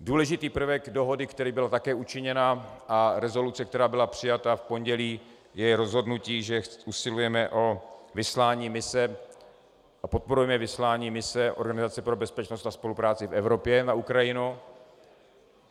Důležitý prvek dohody, který byla také učiněn, a rezoluce, která byla přijata v pondělí, je rozhodnutí, že usilujeme o vyslání mise a podporujeme vyslání mise Organizace pro bezpečnost a spolupráci v Evropě na Ukrajinu.